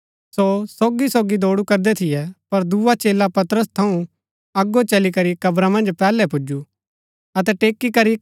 सो सोगी सोगी दौडू करदै थियै पर दुआ चेला पतरस थऊँ अगो चली करी कब्रा मन्ज पैहलै पुजु